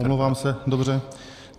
Omlouvám se, dobře.